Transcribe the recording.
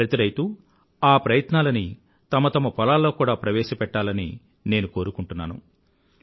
ప్రతి రైతూ ఆ ప్రయత్నాలని తమ తమ పొలాల్లో కూడా ప్రవేశపెట్టాలని నేను కోరుకుంటున్నాను